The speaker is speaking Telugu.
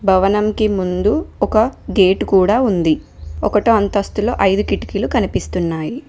భవనంకి ముందు ఒక గేట్ కూడా ఉంది ఒకటో అంతస్తులో ఐదు కిటికీలు కనిపిస్తున్నాయి.